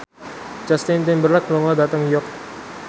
Justin Timberlake lunga dhateng York